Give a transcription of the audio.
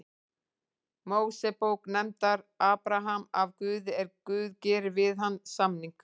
Mósebók nefndur Abraham af Guði er Guð gerir við hann samning: